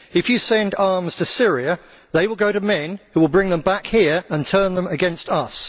If you send arms to Syria, they will go to men who will bring them back here and turn them against us.